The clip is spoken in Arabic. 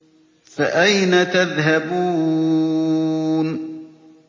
فَأَيْنَ تَذْهَبُونَ